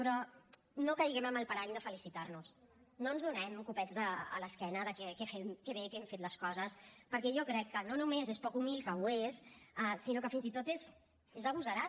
però no caiguem en el parany de felicitar nos no ens donem copets a l’esquena de que bé que hem fet les coses perquè jo crec que no només és poc humil que ho és sinó que fins i tot és agosarat